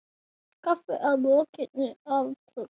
Kaffi að lokinni athöfn.